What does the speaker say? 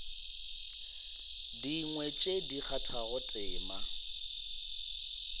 dingwe tše di kgathago tema